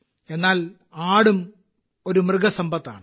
എന്നാൽ ആടും ഒരു മൃഗസമ്പത്താണ്